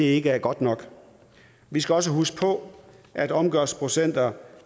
ikke er godt nok vi skal også huske på at omgørelsesprocenter